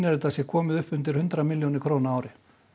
þetta sé komið upp undir milljónir króna á ári